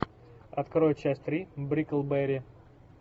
открой часть три бриклберри